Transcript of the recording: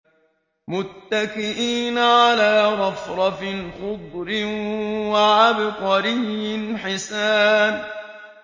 مُتَّكِئِينَ عَلَىٰ رَفْرَفٍ خُضْرٍ وَعَبْقَرِيٍّ حِسَانٍ